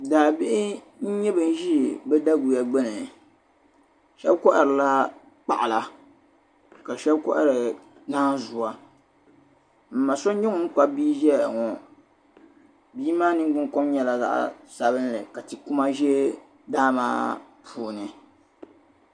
Daa bihi n. nyɛ banzi bidaguya gbuni shabi kohiri la kpaɣila kashabi kohiri naanzua m ma sɔ n nyɛ ŋun Kpabi bii n zayaŋɔ bii maa ningbun, kom nyɛla zaɣi sabinli ka ti kuma zɛ daa maa puuni.